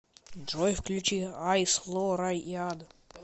джой включи айс ло рай и ад